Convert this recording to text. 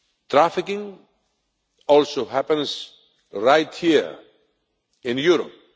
Trafficking also happens right here in Europe.